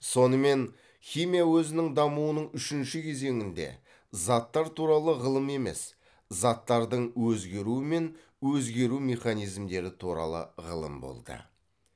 сонымен химия өзінің дамуының үшінші кезеңінде заттар туралы ғылым емес заттардың өзгеруі мен өзгеру механизмдері туралы ғылым болды